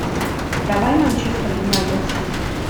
давай манчестер юнайтед сити